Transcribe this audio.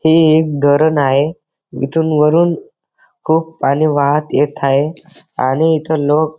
हे एक धरण आहे इथून वरून खूप पाणी वाहत येत आहे आणि इथ लोक --